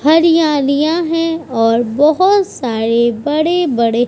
हरियालियां हैं और बोहोत सारे बड़े-बड़े --